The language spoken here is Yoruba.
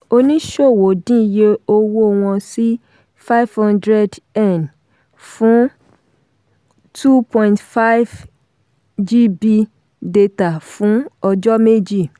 oníṣòwò dín iye owó wọn sí five hundred fún two point five gb data fún ọjọ́ méjì.